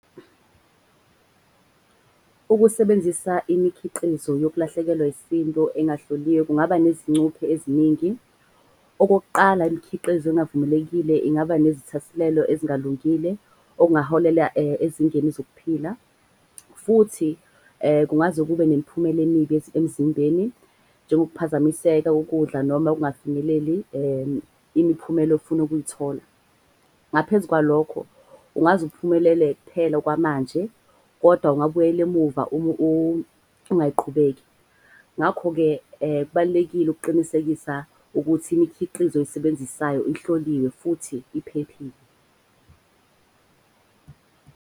Ukusebenzisa imikhiqizo yokulahlekelwa isindo engahloliwe kungaba nezingcuphe eziningi. Okokuqala, imikhiqizo engavumelekile ingaba nezithasilelo ezingalungile okungaholela ezingeni zokuphila. Futhi kungaze kube nemiphumela emibi emzimbeni. Njengokuphazamiseka ukudla noma kungafinyeleli imiphumela ofuna ukuyithola. Ngaphezu kwalokho kungaze uphumelele kuphela okwamanje kodwa ungabuyela emuva ungayiqhubeki. Ngakho-ke kubalulekile ukuqinisekisa ukuthi imikhiqizo oyisebenzisayo ihloliwe futhi iphephile.